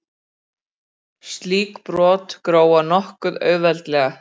Slík brot gróa nokkuð auðveldlega.